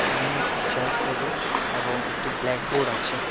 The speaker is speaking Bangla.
সামনে একটি চেয়ার টেবিল এবং একটি ব্ল্যাকবোর্ড আছে।